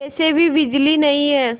वैसे भी बिजली नहीं है